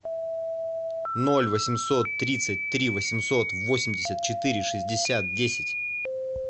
ноль восемьсот тридцать три восемьсот восемьдесят четыре шестьдесят десять